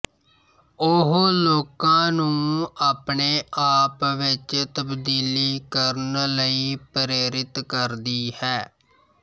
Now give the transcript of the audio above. ਉਹ ਲੋਕਾਂ ਨੂੰ ਆਪਣੇ ਆਪ ਵਿਚ ਤਬਦੀਲੀ ਕਰਨ ਲਈ ਪ੍ਰੇਰਿਤ ਕਰਦੀ ਹੈ